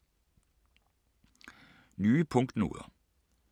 Nye punktnoder